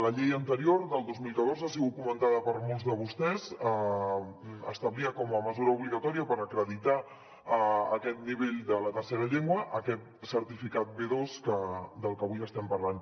la llei anterior del dos mil catorze ha sigut comentada per molts de vostès establia com a mesura obligatòria per acreditar aquest nivell de la tercera llengua aquest certificat b2 de què avui estem parlant